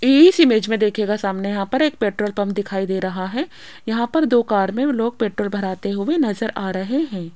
इस इमेज में देखिएगा सामने यहां पर पेट्रोल पंप दिखाई दे रहा है यहां पर दो कार में लोग पेट्रोल भराते हुए नजर आ रहे हैं।